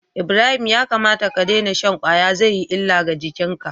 Ibrahim ya kamata ka daina shan kwaya zai yi illa ga jikinka